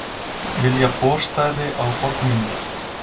Vilja borstæði á fornminjar